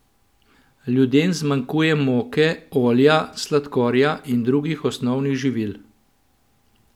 Ljudem zmanjkuje moke, olja, sladkorja in drugih osnovnih živil.